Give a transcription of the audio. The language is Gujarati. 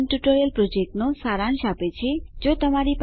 તે સ્પોકન ટ્યુટોરીયલ પ્રોજેક્ટનો સારાંશ આપે છે